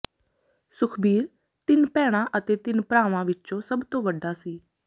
ਸੁਖਬੀਰ ਤਿੰਨ ਭੈਣਾਂ ਅਤੇ ਤਿੰਨ ਭਰਾਵਾਂ ਵਿਚੋਂ ਸੱਭ ਤੋਂ ਵੱਡਾ ਸੀ